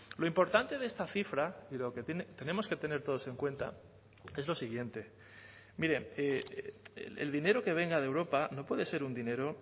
lo importante de esta cifra y lo que tenemos que tener todos en cuenta es lo siguiente mire el dinero que venga de europa no puede ser un dinero